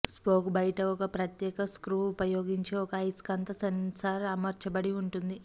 spoke బయట ఒక ప్రత్యేక స్క్రూ ఉపయోగించి ఒక అయస్కాంత సెన్సార్ అమర్చబడి ఉంటుంది